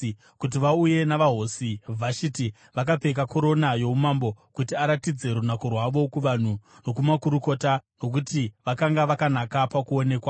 kuti vauye navaHosi Vhashiti, vakapfeka korona youmambo, kuti aratidze runako rwavo kuvanhu nokumakurukota, nokuti vakanga vakanaka pakuonekwa.